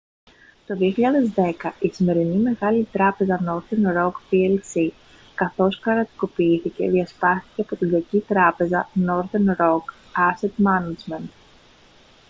το 2010 η σημερινή μεγάλη τράπεζα northern roc plc καθώς κρατικοποιήθηκε διασπάστηκε από την «κακή τράπεζα» northern roc asset management